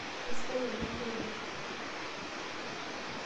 Kesidai olnyorra oleng.